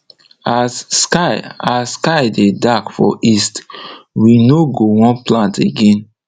as sky as sky dey dark for east we no go wan plant again